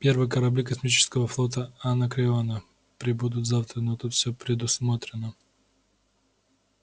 первые корабли космического флота анакреона прибудут завтра но тут всё предусмотрено